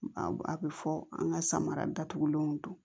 A bɛ fɔ an ka samara datugulenw don